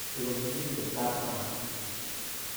Tigomining cheptab Omar